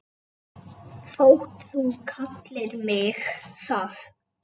þótt þú kallir mig það.